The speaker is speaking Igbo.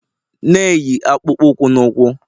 na-eyi akpụkpọ ụkwụ na ụkwụ